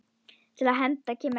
Til hefnda kemur ekki!